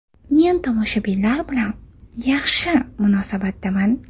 Men tomoshabinlar bilan yaxshi munosabatdaman.